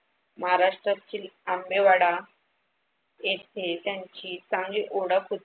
महाराष्ट्रातील आंबेवाडा येथे त्यांची चांगली ओळख होती.